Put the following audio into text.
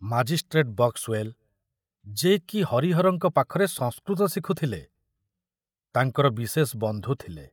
Magistrate Boxwell, ଯେ କି ହରିହରଙ୍କ ପାଖରେ ସଂସ୍କୃତ ଶିଖୁଥିଲେ, ତାଙ୍କର ବିଶେଷ ବନ୍ଧୁ ଥିଲେ।